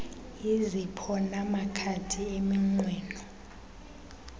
izipho namakhadi eminqweno